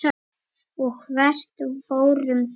Og hvert fóru þeir?